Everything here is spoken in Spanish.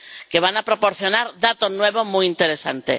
que van a proporcionar datos nuevos muy interesantes.